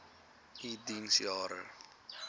u diens jare